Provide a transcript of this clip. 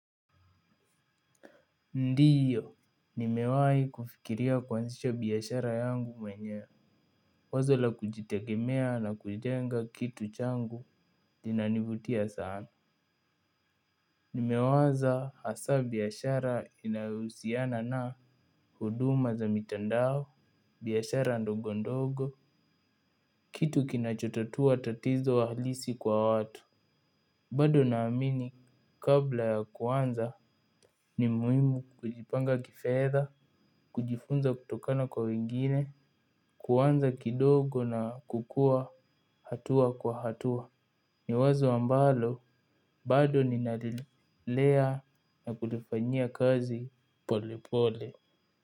Ndio, nimewahi kufikiria kuanzisha biashara yangu mwenyewe. Wazo la kujitegemea na kujenga kitu changu, kinanivutia sana. Nimewaza hasa biashara inayohusiana na huduma za mitandao, biashara ndogo ndogo, kitu kinachotatua tatizo halisi kwa watu. Bado naamini kabla ya kuanza ni muhimu kujipanga kifedha, kujifunza kutokana kwa wengine, kuanza kidogo na kukua hatua kwa hatua. Ni wazo ambalo bado ninalilea na kulifanyia kazi pole pole.